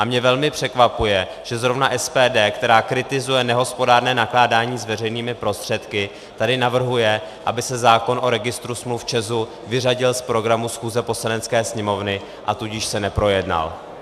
A mě velmi překvapuje, že zrovna SPD, která kritizuje nehospodárné nakládání s veřejnými prostředky, tady navrhuje, aby se zákon o registru smluv ČEZu vyřadil z programu schůze Poslanecké sněmovny, a tudíž se neprojednal.